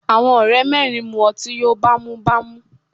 Àwọn ọ̀rẹ́ mẹ́rin mú ọtí yóò bá mú bá mú.